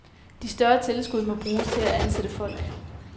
De større tilskud må bruges til at ansætte folk.